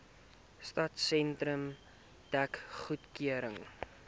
stadsentrum dek goedgekeur